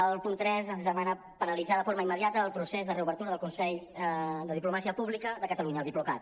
el punt tres ens demana paralitzar de forma immediata el procés de reobertura del consell de diplomàcia pública de catalunya el diplocat